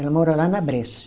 Ela mora lá na Bresser.